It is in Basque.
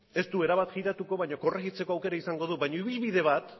ez du erabat jiratuko baina korrejitzeko aukera izango du baina ibilbide bat